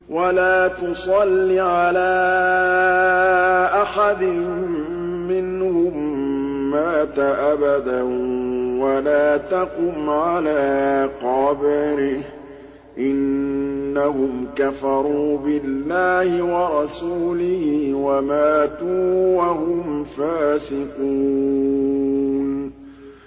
وَلَا تُصَلِّ عَلَىٰ أَحَدٍ مِّنْهُم مَّاتَ أَبَدًا وَلَا تَقُمْ عَلَىٰ قَبْرِهِ ۖ إِنَّهُمْ كَفَرُوا بِاللَّهِ وَرَسُولِهِ وَمَاتُوا وَهُمْ فَاسِقُونَ